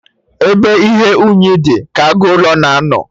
Ebe ihe unyi dị, ka agụ ụlọ na-anọ